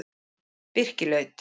Birkilaut